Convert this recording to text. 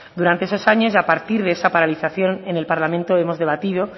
durante esos años y a partir de esta paralización en el parlamento hemos debatido